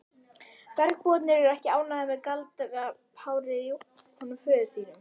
Bergbúarnir eru ekki ánægðir með galdrapárið í honum föður þínum.